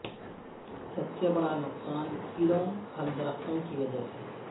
سب سے بڑا نقصان کیڑوں پھل درختوں کی وجہ سے